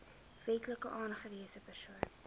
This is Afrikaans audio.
wetlik aangewese persoon